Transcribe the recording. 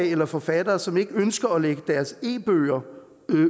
eller forfattere som ikke ønsker at lægge deres e bøger